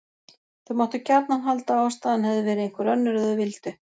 Þau máttu gjarnan halda að ástæðan hefði verið einhver önnur ef þau vildu.